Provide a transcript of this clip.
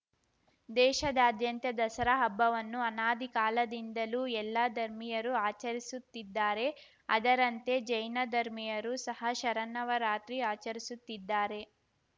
ದೇಶಾದ್ಯಂತ ದಸರಾ ಹಬ್ಬವನ್ನು ಅನಾದಿ ಕಾಲದಿಂದಲೂ ಎಲ್ಲ ಧರ್ಮೀಯರು ಆಚರಿಸುತ್ತಿದ್ದಾರೆ ಅದರಂತೆ ಜೈನ ಧರ್ಮಿಯರು ಸಹ ಶರನ್ನವರಾತ್ರಿ ಆಚರಿಸುತ್ತಿದ್ದಾರೆ